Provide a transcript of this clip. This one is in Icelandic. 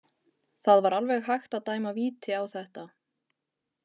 Það var alveg hægt að dæma víti á þetta.